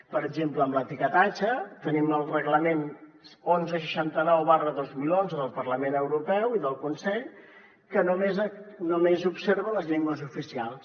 per exemple en l’etiquetatge tenim el reglament onze seixanta nou dos mil onze del parlament europeu i del consell que només observa les llengües oficials